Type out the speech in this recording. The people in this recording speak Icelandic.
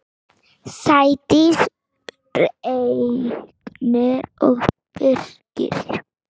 Sædís, Reynir og Birkir.